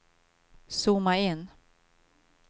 zooma in